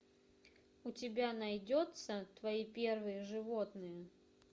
у тебя найдется твои первые животные